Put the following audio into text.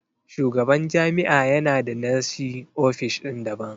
Shugaban jami'a ya na da nashi ofishin daban.